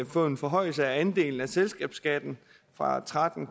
få en forhøjelse af andelen af selskabsskatten fra tretten